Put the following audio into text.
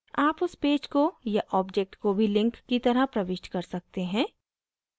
आप उस पेज को या object को भी link की तरह प्रविष्ट कर सकते हैं